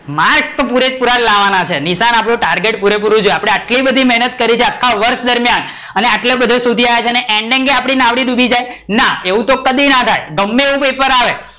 marks તો પુરે પુરા જ લાવાના છે, નિશાન આપડે target પુરેપૂરું જ છે આટલી બધી મેહનત કરી છે આખા વર્ષ દરમિયાન, આટલે બધે સુધી આવ્યા છે ending આપડી નાવડી ડૂબી જાય, ના એવું તો કદી ના થાય ગમે એવું પેપર આવે,